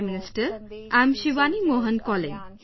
Prime Minister, I am Shivani Mohan calling